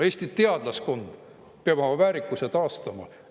Eesti teadlaskond peab oma väärikuse taastama.